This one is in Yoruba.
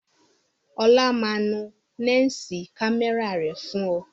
Ọlá máa nu lẹ́ǹsì kámẹ́rà rẹ̀ fún ọ